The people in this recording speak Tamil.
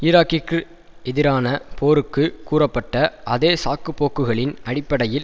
ஈராக்கிற்கு எதிரான போருக்கு கூறப்பட்ட அதே சாக்குப்போக்குகளின் அடிப்படையில்